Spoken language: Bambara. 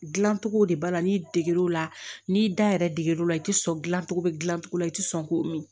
Dilancogo de b'a la n'i deger'o la n'i da yɛrɛ deg'u la i tɛ sɔn gilan cogo bɛ gilan cogo la i tɛ sɔn k'o min